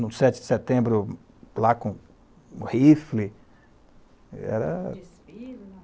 No sete de setembro, lá com um rifle, era... Desfile?